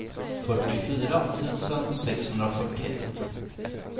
fyrtiofyra tusen sexhundrafyrtioett